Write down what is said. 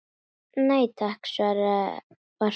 Nei takk var svarið.